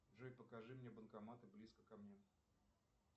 джой покажи мне банкоматы близко ко мне